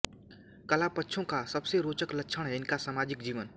कलापक्षों का सबसे रोचक लक्षण है इनका सामाजिक जीवन